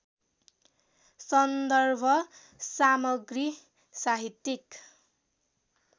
सन्दर्भ सामग्री साहित्यिक